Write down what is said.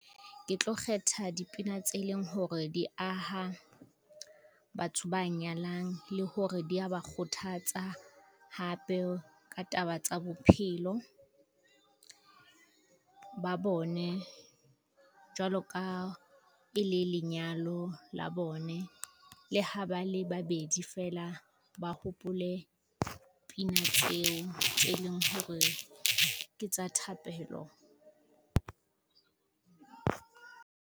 Ke tlo kgetha dipina tse leng hore di aha, batho ba nyalang le hore di ya ba kgothatsa hape ka taba tsa bophelo, ba bone. Jwalo ka e le lenyalo la bone le ha ba le babedi feela, ba hopole pina tseo tse leng hore ke tsa thapelo.